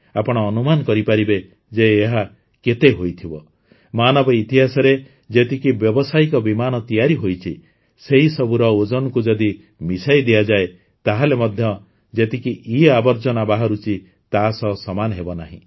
ଆପଣ ଅନୁମାନ କରିପାରିବେ ଯେ ଏହା କେତେ ହୋଇଥିବ ମାନବ ଇତିହାସରେ ଯେତିକି ବ୍ୟାବସାୟିକ ବିମାନ ତିଆରି ହୋଇଛି ସେହି ସବୁର ଓଜନକୁ ଯଦି ମିଶାଇ ଦିଆଯାଏ ତାହେଲେ ମଧ୍ୟ ଯେତିକି ଇଆବର୍ଜନା ବାହାରୁଛି ତା ସହ ସମାନ ହେବ ନାହିଁ